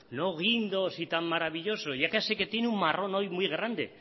no guindos ni tan maravilloso ya sé que tiene un marrón hoy muy grande